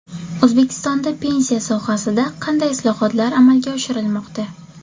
O‘zbekistonda pensiya sohasida qanday islohotlar amalga oshirilmoqda?.